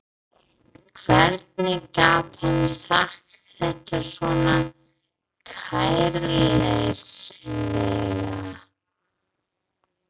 Hvernig gat hann sagt þetta svona kæruleysislega?